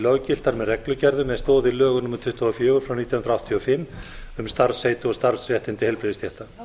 löggiltar með reglugerðum með stoð í lögum númer tuttugu og fjögur nítján hundruð áttatíu og fimm um starfsheiti og starfsréttindi heilbrigðisstétta